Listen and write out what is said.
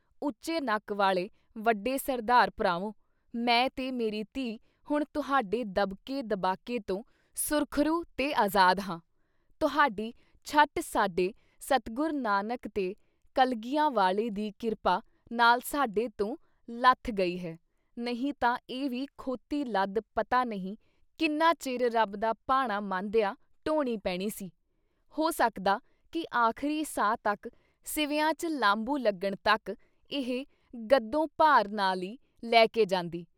ਲਓ ਉੱਚੇ ਨੱਕ ਵਾਲੇ ਵੱਡੇ ਸਰਦਾਰ ਭਰਾਵੋ ! ਮੈਂ ਤੇ ਮੇਰੀ ਧੀ ਹੁਣ ਤੁਹਾਡੇ ਦਬਕੇ ਦਬਾਕੇ ਤੋਂ ਸੁਰਖ਼ਰੂ ਤੇ ਅਜ਼ਾਦ ਹਾਂ। ਤੁਹਾਡੀ ਛੱਟ ਸਾਡੇ ਸਤਿਗੁਰ ਨਾਨਕ ਤੇ ਕਲਗੀਆਂ ਵਾਲੇ ਦੀ ਕਿਰਪਾ ਨਾਲ ਸਾਡੇ ਤੋਂ ਲੱਥ ਗਈ ਹੈ, ਨਹੀਂ ਤਾਂ ਇਹ ਵੀ ਖੋਤੀ ਲੱਦ ਪਤਾ ਨਹੀਂ ਕਿੰਨਾ ਚਿਰ ਰੱਬ ਦਾ ਭਾਣਾ ਮੰਨਦਿਆਂ ਢੋਣੀ ਪੈਣੀ ਸੀ। ਹੋ ਸਕਦਾ ਕਿ ਆਖਰੀ ਸਾਹ ਤੱਕ ਸਿਵਿਆਂ 'ਚ ਲਾਂਬੂ ਲੱਗਣ ਤੱਕ ਇਹ ਗੱਦੋਂ-ਭਾਰ ਨਾਲ ਈ ਲੈਕੇ ਜਾਂਦੀ।